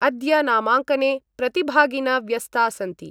अद्य नामाङ्कने प्रतिभागिन व्यस्ता सन्ति।